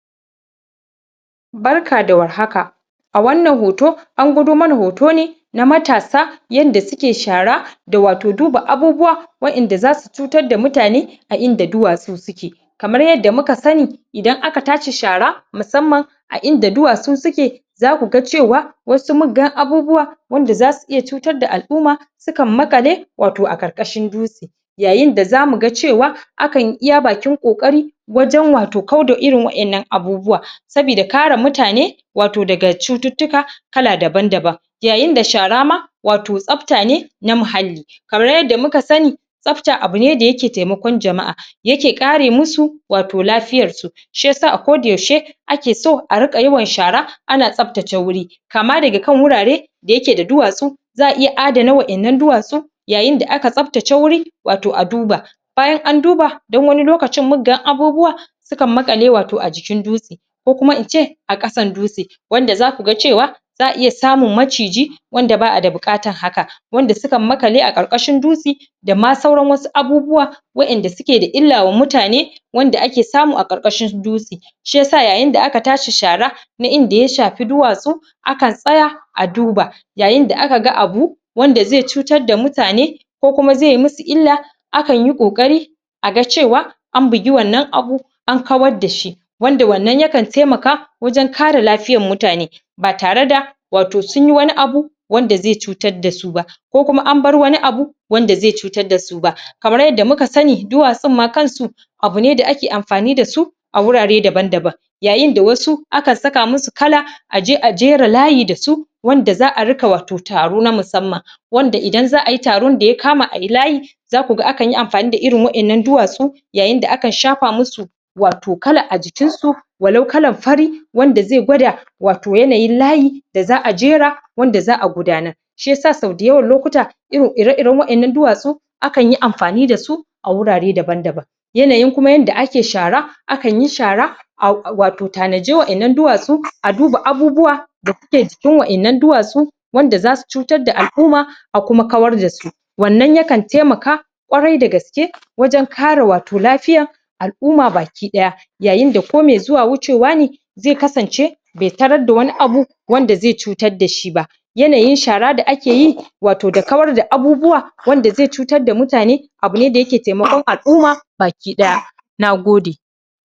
Barka da war haka a wannan hoto an gwado mana hoto ne na matasa yanda suke shara da wato duba abubuwa waƴanda za su cutar da mutane a inda duwatsu suke kamar yadda muka sani idan aka tashi shara musamman a inda duwatsu suke za ku ga cewa wasu muggan abubuwa wanda za su iya cutar da al'uma su kan maƙale wato a ƙarƙashin dutsi yayin da za mu ga cewa\ akan yi iya bakin-ƙoƙari wajen wato kau da irin waƴannan abubuwa sabida kara mutane wato daga cututtuka kala daban-daban yayin da shara ma wato tsafta ne na muhalli kamar yadda muka sani tsafta abu ne da yake temakon jama'a yake ƙare musu wato lafiyarsu shi yasa a ko da yaushe ake so a rika yawan shara ana tsaftace wuri kama daga kan wurare da yake da duwatsu za a iya adana waƴannan duwatsu yayin da aka tsaftace wuri wato a duba bayan an duba dan wani lokacin muggan abubuwa su kan maƙale wato a jikin dutsi ko kuma in ce a ƙasan dutsi wanda za ku ga cewa za a iya samun maciji wanda ba a da buƙatan haka wanda su kan maƙale a ƙarƙashin dutsi da sauran wasu abubuwa waƴanda suke da illa wa mutane wanda ake samu a ƙarkashin dutsi shi yasa yayin da aka tashi shara na inda ya shafi duwatsu akan tsaya a duba yayin da aka ga abu wanda ze cutar da mutane ko kuma ze yi musu illa akan yi ƙoƙari a ga cewa an bigi wannan abu an kawar da shi wanda wannan ya kan temaka wajen kara lafiyan mutane ba tare da wato sun yi wani abu wanda ze cutar da su ba ko kuma an bar wani abu wanda ze cutar da su ba kamar yadda muka sani duwatsun ma kan su abu ne da ake amfani da su a wurare daban-daban yayin da wasu akan saka musu kala aje a jera layi da su wanda za a rika wato taro na musamman wanda idan za a yi taron da ya kama a yi layi za ku ga akan yi amfani da irin wayannan duwatsu yayin da akan shafa musu wato kala a jikinsu walau kalan fari wanda ze gwada wato yanayin layi da za a jera wanda za a gudanar shi yasa sau dayawan lokuta ire-iren waƴannnan duwatsu akan yi amfani da su a wurare daban-daban yanayin kuma yanda ake shara akan yi shara a wato tanaji waƴannan duwatsu a duba abubuwa da kuke jikin waƴannan duwatsu wanda za su cutar da al'uma a kuma kawar da su wannan ya kan temaka kwarai da gaske wajen kare wato lafiyan al'uma baki-ɗaya yayin da ko me zuwa wucewa ne ze kasance be tarar da wani abu wanda ze cutar da shi ba yanayin shara da ake yi wato da kawar da abubuwa wanda ze cutar da mutane abu ne da yake temakon al'uma baki-ɗaya na gode